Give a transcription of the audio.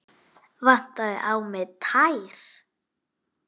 Vantaði á mig tær?